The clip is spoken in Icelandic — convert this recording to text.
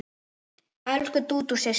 Elsku Dúdú systir.